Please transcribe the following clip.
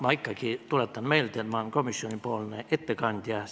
Ma ikkagi tuletan meelde, et ma olen komisjoni ettekandja.